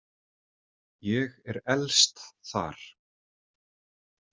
Ég er elst þar.